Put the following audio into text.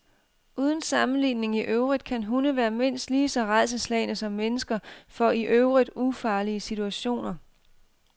Uden sammenligning i øvrigt kan hunde være mindst lige så rædselsslagne som mennesker for i øvrigt ufarlige situationer.